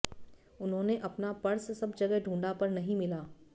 उन्होंने अपना पर्स सब जगह ढूंढा पर नहीं मिला